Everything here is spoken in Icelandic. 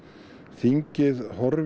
þingið horfi